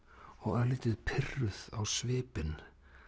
og örlítið pirruð á svipinn